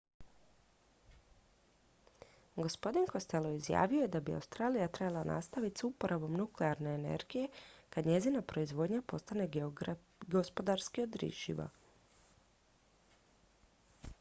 gospodin costello izjavio je da bi australija trebala nastaviti s uporabom nuklearne energije kad njezina proizvodnja postane gospodarski održiva